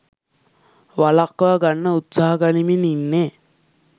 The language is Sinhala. වළක්වා ගන්න උත්සාහ ගනිමින් ඉන්නෙ.